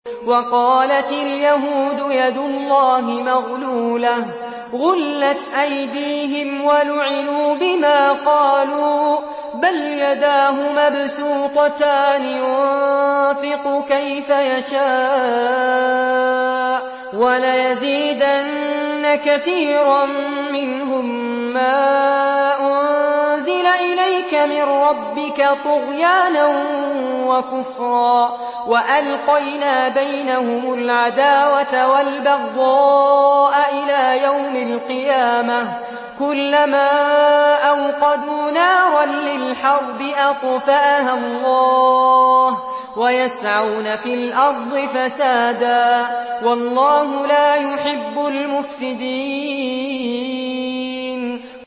وَقَالَتِ الْيَهُودُ يَدُ اللَّهِ مَغْلُولَةٌ ۚ غُلَّتْ أَيْدِيهِمْ وَلُعِنُوا بِمَا قَالُوا ۘ بَلْ يَدَاهُ مَبْسُوطَتَانِ يُنفِقُ كَيْفَ يَشَاءُ ۚ وَلَيَزِيدَنَّ كَثِيرًا مِّنْهُم مَّا أُنزِلَ إِلَيْكَ مِن رَّبِّكَ طُغْيَانًا وَكُفْرًا ۚ وَأَلْقَيْنَا بَيْنَهُمُ الْعَدَاوَةَ وَالْبَغْضَاءَ إِلَىٰ يَوْمِ الْقِيَامَةِ ۚ كُلَّمَا أَوْقَدُوا نَارًا لِّلْحَرْبِ أَطْفَأَهَا اللَّهُ ۚ وَيَسْعَوْنَ فِي الْأَرْضِ فَسَادًا ۚ وَاللَّهُ لَا يُحِبُّ الْمُفْسِدِينَ